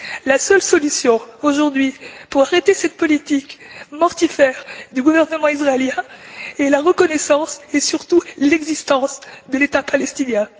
La seule solution, aujourd'hui, pour arrêter cette politique mortifère du gouvernement israélien est la reconnaissance et, surtout, l'existence de l'État palestinien.